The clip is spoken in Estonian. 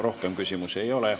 Rohkem küsimusi ei ole.